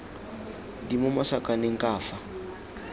di mo masakaneng ka fa